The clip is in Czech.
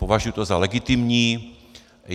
Považuji to za legitimní.